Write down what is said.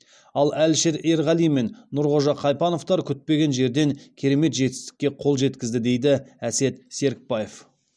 ал әлішер ерғали мен нұрғожа қайпановтар күтпеген жерден керемет жетістікке қол жеткізді дейді әсет серікбаев